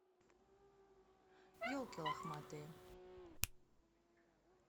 елки лохматые